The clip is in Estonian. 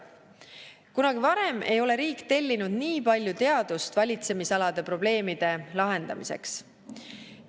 Kunagi varem ei ole riik tellinud nii palju teadust valitsemisalade probleemide lahendamiseks.